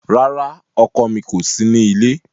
Rara, ọkọ mi ko si ni ile